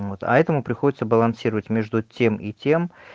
вот а этому приходится балансировать между тем и тем